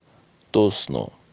тосно